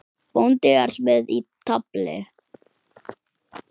Bóndi er með í tafli.